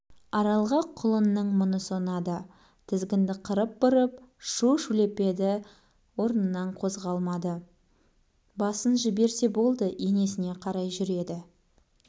аралға құлынның мұнысы ұнады тізгінді қырын бұрып шу-шулепеді орнынан қозғалмады басын жіберсе болды енесіне қарай жүреді